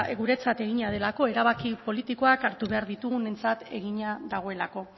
guretzat egina delako erabaki politikoak hartu behar ditugunontzat egina dagoelako